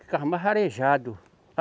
Ficava mais arejado.